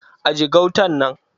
Aje gautan nan!